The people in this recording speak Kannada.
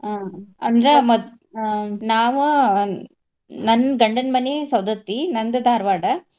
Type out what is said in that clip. ಆಹ್ ಅಂದ್ರ ಮ~ ಆಹ್ ನಾವ ಆಹ್ ನನ್ನ್ ಗಂಡನ್ ಮನಿ ಸವದತ್ತಿ. ನಂದ್ ಧಾರ್ವಾಡ .